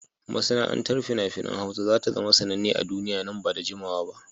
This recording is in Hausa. Masana'antar fina-finan Hausa za ta zama sananne a duniya nan ba da jimawa ba.